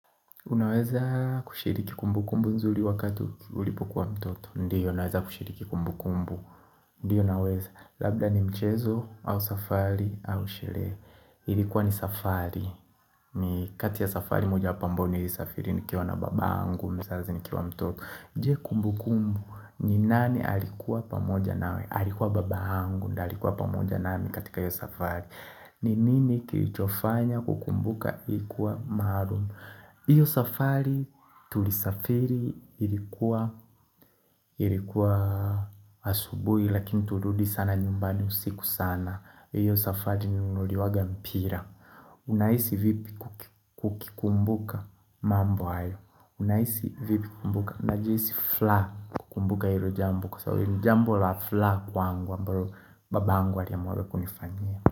Unaweza kushiriki kumbu kumbu nzuri wakati ulipokwa mtoto. Ndiyo naweza kushiriki kumbu kumbu. Ndiyo naweza. Labda ni mchezo au safali au shelehe. Ilikuwa ni safari. Ni kati ya safari moja pambu ni safari. Nikiona baba angu mzazi nikiwa mtoto. Je kumbu kumbu. Ninani alikuwa pamoja nawe. Alikuwa baba angu ndo alikuwa pamoja nami katika hiyo safari. Ni nini kilichofanya kukumbuka. Kukumbuka ilikuwa maharum. Iyo safari tulisafiri ilikuwa asubui lakini turudi sana nyumbani usiku sana. Iyo safari nilinunuliwaga mpira Unaisi vipi ukukikumbuka mambo hayo? Unaisi vipi kumbuka? Najisi fla kukumbuka hilo jambo. Kwa sababu ilo jambo la fla kwangu ambalo baba angu aliamuaga kunifanyia.